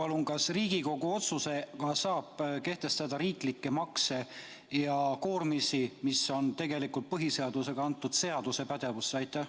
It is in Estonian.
Öelge palun, kas Riigikogu otsusega saab kehtestada riiklikke makse ja koormisi, mille kehtestamine on tegelikult põhiseadusega antud seaduse pädevusse?